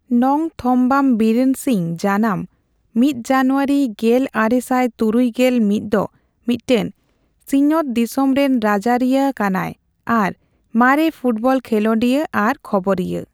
ᱱᱚᱝᱛᱷᱚᱢᱵᱟᱢ ᱵᱤᱨᱮᱱ ᱥᱤᱝ ᱡᱟᱱᱟᱢᱺ ᱢᱤᱛᱡᱟᱱᱩᱣᱟᱨᱤ ᱜᱮᱞ ᱟᱨᱮ ᱥᱟᱭ ᱛᱩᱨᱩᱭ ᱜᱮᱞ ᱢᱤᱛ ᱫᱚ ᱢᱤᱫᱴᱮᱱ ᱥᱤᱧᱚᱛ ᱫᱤᱥᱚᱢ ᱨᱮᱱ ᱨᱟᱡᱟᱨᱤᱭᱟᱹ ᱠᱟᱱᱟᱭ ᱟᱨ ᱢᱟᱨᱮ ᱯᱷᱩᱴᱵᱚᱞ ᱠᱷᱤᱞᱚᱱᱰᱤᱭᱟᱹ ᱟᱨ ᱠᱷᱚᱵᱚᱨᱤᱭᱟᱹ।